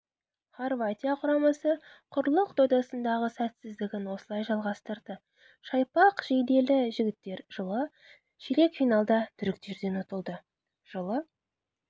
хорватия құрамасы құрлық додасындағы сәтсіздігін осылай жалғастырды шақпақ жейделі жігіттер жылы ширек финалда түріктерден ұтылды жылы